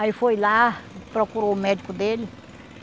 Aí foi lá, procurou o médico dele.